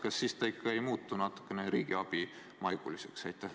Kas see samm ikka ei ole natukene riigiabimaiguline?